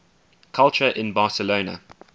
culture in barcelona